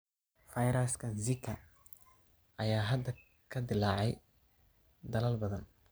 Fayraska Zika ayaa hadda ka dillaacay dalal badan.